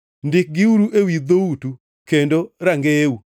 Ndikgiuru ewi dhoutu kendo e rangeyeu,